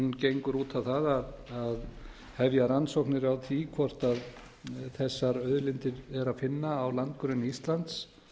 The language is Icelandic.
gengur út á það hefja rannsóknir á því hvort þessar auðlindir er að finna á landgrunni íslands